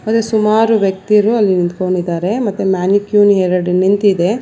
ಮತ್ತೆ ಸುಮಾರು ವ್ಯಕ್ತಿರು ಅಲ್ಲಿ ನಿಂತ್ಕೊಂಡಿದ್ದಾರೆ ಮತ್ತೆ ಎರಡ ನಿಂತಿದೆ.